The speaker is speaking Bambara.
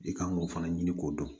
I kan k'o fana ɲini k'o dɔn